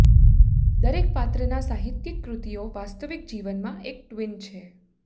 દરેક પાત્રના સાહિત્યિક કૃતિઓ વાસ્તવિક જીવનમાં એક ટ્વીન છે